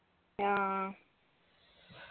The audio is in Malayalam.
ആ